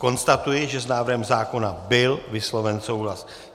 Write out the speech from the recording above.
Konstatuji, že s návrhem zákona byl vysloven souhlas.